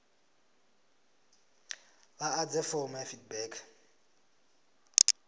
vha ḓadze fomo ya feedback